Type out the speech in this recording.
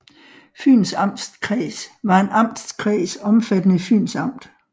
Fyns Amtskreds var en amtskreds omfattende Fyns Amt